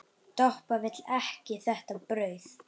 Doppa vill ekki þetta brauð.